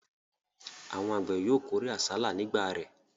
Àwọn àgbẹ̀ yóò kórè àsálà ní ìgbà rẹ̀.